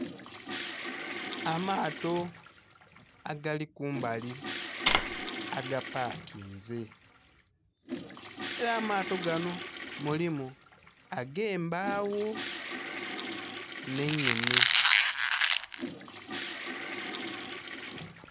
Amaato agali kumbali agapakinze. Ela amaato ganho mulimu ag'embagho nh'einhene.